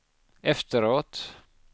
efteråt